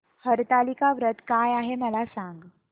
हरतालिका व्रत काय आहे मला सांग